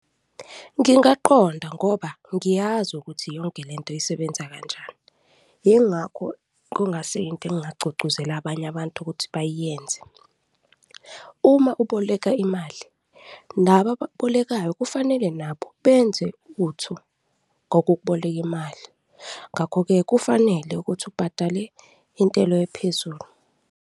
Ngingaqonda ngoba ngiyazi ukuthi yonke le nto isebenza kanjani, yingakho kungasi into engingagqugquzela abanye abantu ukuthi bayiyenze. Uma uboleka imali, nabo abakubolekayo kufanele nabo benze uthu ngokukuboleka imali ngakho-ke, kufanele ukuthi ubhadale intelo ephezulu.